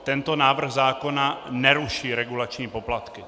Tento návrh zákona neruší regulační poplatky.